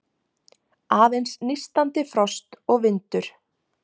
Aðeins nístandi frost og vindur.